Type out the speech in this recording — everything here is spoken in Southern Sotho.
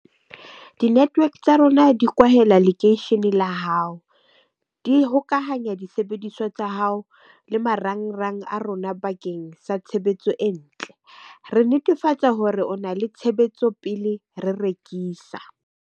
Di-network tsa rona di kwahela lekeisheneng la hao di hokahanya disebediswa tsa hao le marangrang a rona. Bakeng sa tshebetso e ntle re netefatsa hore o na le tshebetso pele re rekisa.